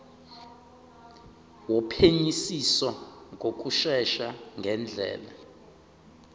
wophenyisiso ngokushesha ngendlela